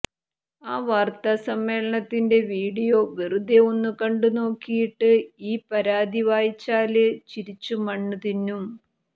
ആ വാര്ത്താ സമ്മേളനത്തിന്റെ വീഡിയോ വെറുതെ ഒന്നു കണ്ടു നോക്കിയിട്ട് ഈ പരാതി വായിച്ചാല് ചിരിച്ചു മണ്ണു തിന്നും